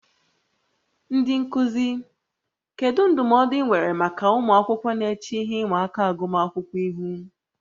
Ndị nkuzi, kedu ndụmọdụ ị nwere maka ụmụ akwụkwọ na-eche ihe ịma aka agụmakwụkwọ ihu?